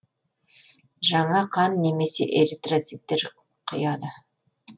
жаңа қан немесе эритроциттер құяды